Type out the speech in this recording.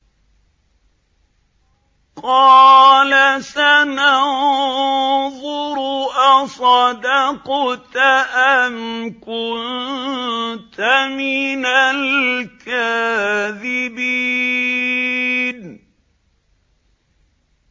۞ قَالَ سَنَنظُرُ أَصَدَقْتَ أَمْ كُنتَ مِنَ الْكَاذِبِينَ